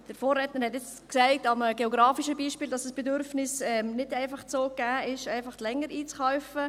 Mein Vorredner hat an einem geografischen Beispiel aufgezeigt, dass das Bedürfnis, länger einzukaufen, nicht einfach so gegeben ist.